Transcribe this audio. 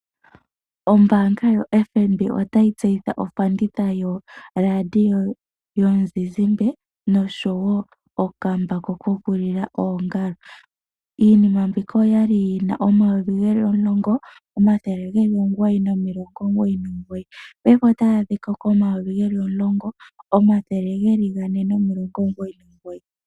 Ombaanga yoFNB otayi tseyitha ofanditha yoradio yomuzizimba noshowo okambako kokulila oongalo. Iinima mbika oya li yi na N$ 10 999, paife otayi adhika koN$ 10 499.